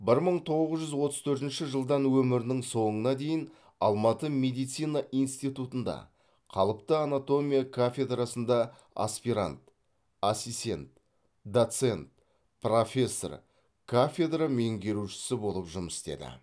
бір мың тоғыз жүз отыз төртінші жылдан өмірінің соңына дейін алматы медицина институтында қалыпты анатомия кафедрасында аспирант ассистент доцент профессор кафедра меңгерушісі болып жұмыс істеді